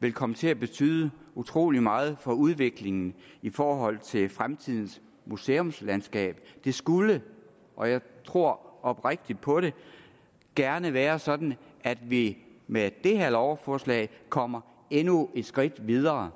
vil komme til at betyde utrolig meget for udviklingen i forhold til fremtidens museumslandskab det skulle og jeg tror oprigtigt på det gerne være sådan at vi med det her lovforslag kommer endnu et skridt videre